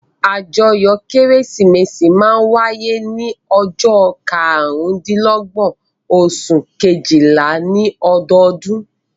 Àjọyọ̀ Kérésìmesì máa ń wáyé ní ọjọ́ karùndínlọ́gbọ́n oṣù kejìlá ní ọdọọdún.